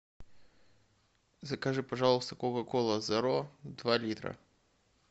закажи пожалуйста кока кола зеро два литра